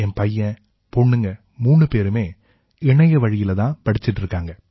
என் பையன் பொண்ணுங்க மூணு பேருமே இணையவழியில தான் படிச்சுட்டு இருக்காங்க